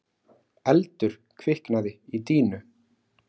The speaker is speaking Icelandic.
Eldur kviknaði í dýnu